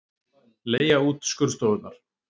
Leigja út skurðstofurnar